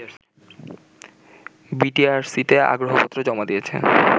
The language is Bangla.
বিটিআরসিতে আগ্রহপত্র জমা দিয়েছে